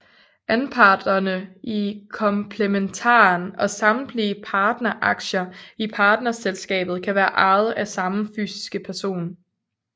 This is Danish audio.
Anparterne i komplementaren og samtlige partneraktier i partnerselskabet kan være ejet af samme fysiske person